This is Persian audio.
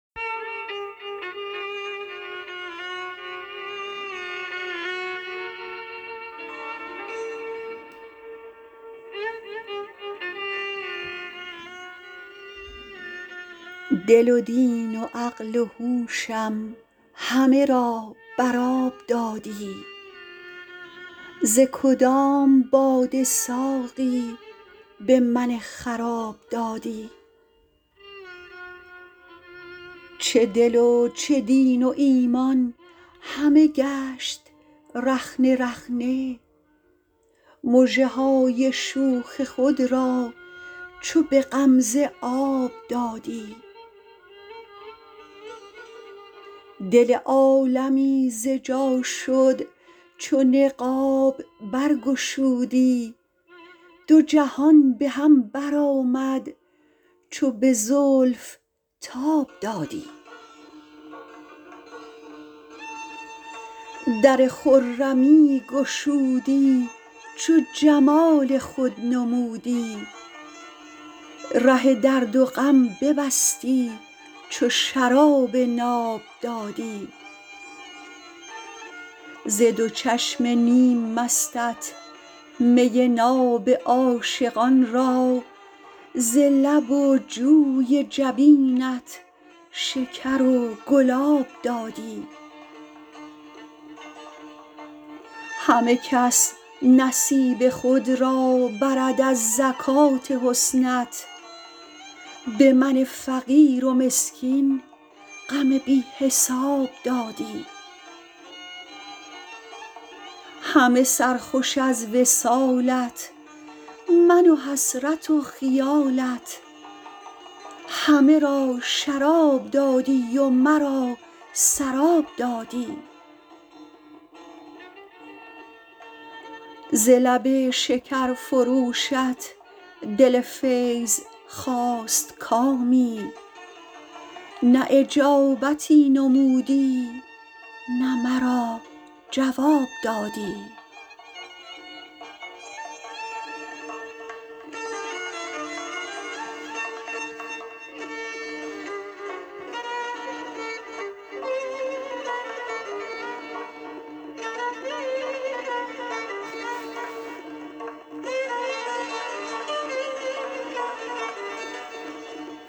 دل و دین و عقل و هوشم همه را بر آب دادی ز کدام باده ساقی به من خراب دادی چه دل و چه دین و ایمان همه گشت رخنه رخنه مژه های شوخ خود را چو به غمزه آب دادی دل عالمی ز جا شد چو نقاب بر گشودی دو جهان به هم بر آمد چو به زلف تاب دادی در خرمی گشودی چو جمال خود نمودی ره درد و غم ببستی چو شراب ناب دادی ز دو چشم نیم مستت می ناب عاشقان را ز لب و جوی جبینت شکر و گلاب دادی همه کس نصیب خود را برد از زکات حسنت به من فقیر و مسکین غم بی حساب دادی همه سرخوش از وصالت من و حسرت و خیالت همه را شراب دادی و مرا سراب دادی ز لب شکرفروشت دل “فیض” خواست کامی نه اجابتی نمودی نه مرا جواب دادی